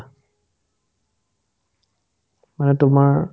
মানে তোমাৰ